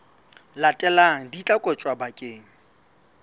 latelang di tla kotjwa bakeng